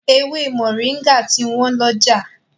Ewé Moringa ti wọ́n lọ́jà.